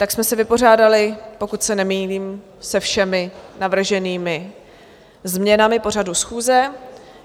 Tak jsme se vypořádali, pokud se nemýlím, se všemi navrženými změnami pořadu schůze.